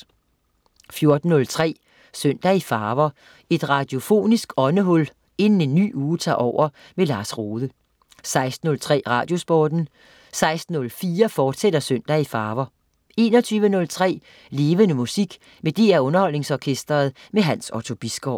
14.03 Søndag i farver. Et radiofonisk åndehul inden en ny uge tager over. Lars Rohde 16.03 Radiosporten 16.04 Søndag i farver, fortsat 21.03 Levende Musik med DR Underholdningsorkestret. Hans Otto Bisgaard